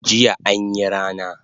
Jiya anyi rana